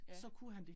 Ja